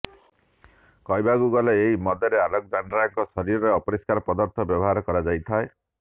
କହିବାକୁ ଗଲେ ଏହି ମଦରେ ଆଲେକ୍ସଜାଣ୍ଡ୍ରାଙ୍କ ଶରୀରର ଅପରିଷ୍କାର ପଦାର୍ଥ ବ୍ୟବହାର କରାଯାଇଥାଏ